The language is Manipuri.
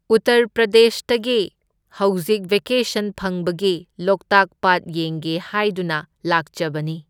ꯎꯇꯔ ꯄ꯭ꯔꯗꯦꯁꯇꯒꯤ ꯍꯧꯖꯤꯛ ꯚꯦꯀꯦꯁꯟ ꯐꯪꯕꯒꯤ ꯂꯣꯛꯇꯥꯛ ꯄꯥꯠ ꯌꯦꯡꯒꯦ ꯍꯥꯢꯗꯨꯅ ꯂꯥꯛꯆꯕꯅꯤ꯫